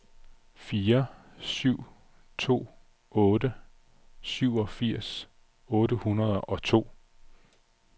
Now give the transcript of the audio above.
fire syv to otte syvogfirs otte hundrede og to